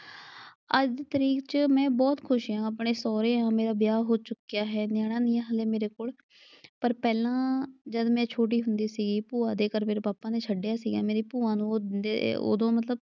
ਅੱਜ ਦੀ ਤਰੀਕ ਚ ਮੈਂ ਬਹੁਤ ਖੁਸ਼ ਆਂ। ਆਪਣੇ ਸਹੁਰੇ ਆਂ, ਮੇਰਾ ਵਿਆਹ ਹੋ ਚੁੱਕਿਆ ਹੈ, ਨਿਆਣਾ ਨਈਂ ਆਂ ਮੇਰੇ ਹਲੇ ਮੇਰੇ ਕੋਲ। ਪਰ ਪਹਿਲਾਂ ਜਦ ਮੈਂ ਛੋਟੀ ਹੁੰਦੀ ਸੀ ਭੂਆ ਦੇ ਘਰ ਮੇਰੇ ਪਾਪਾ ਨੇ ਛੱਡਿਆ ਸੀਗਾ। ਮੇਰੀ ਭੂਆ ਨੂੰ ਉਹ ਉਦੋਂ ਮਤਲਬ,